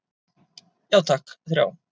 Já takk, þrjá.